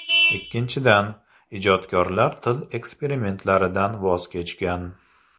Ikkinchidan , ijodkorlar til eksperimentlaridan voz kechgan.